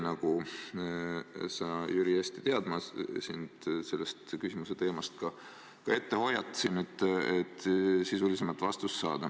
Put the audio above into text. Nagu sa, Jüri, hästi tead, ma hoiatasin sind ette, et sel teemal küsimused tulevad – seda selleks, et sisulisemat vastust saada.